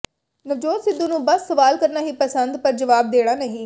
ਨਵਜੋਤ ਸਿੱਧੂ ਨੂੰ ਬਸ ਸਵਾਲ ਕਰਨਾ ਹੀ ਪਸੰਦ ਪਰ ਜਵਾਬ ਦੇਣਾ ਨਹੀਂ